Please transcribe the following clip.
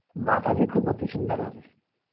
মাতাজি খুব অতিসুন্দর আছে